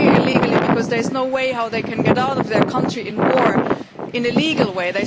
They are here illegally because there is no way that they can get out of their country, which is at war, in a legal way.